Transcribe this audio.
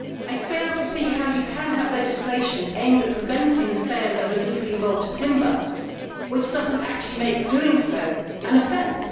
I fail to see how you can have legislation aimed at preventing the sale of illegally logged timber which does not actually make doing so an offence.